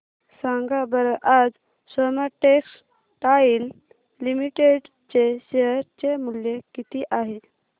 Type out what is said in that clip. सांगा बरं आज सोमा टेक्सटाइल लिमिटेड चे शेअर चे मूल्य किती आहे